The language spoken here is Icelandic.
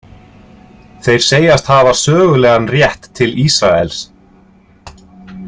Þeir segjast hafa sögulegan rétt til Ísraels.